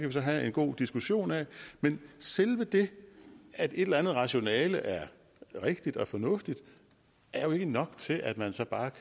vi så have en god diskussion af men selve det at et eller andet rationale er rigtigt og fornuftigt er jo ikke nok til at man så bare